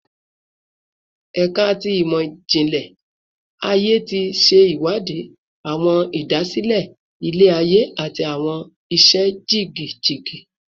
Ẹka ti Imọ-jinlẹ Aye ti ṣe iwadi awọn idasile ilẹ-aye ati awọn iṣẹ jigijigi